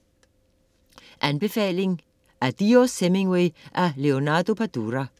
Anbefaling: Adiós Hemingway af Leonardo Padura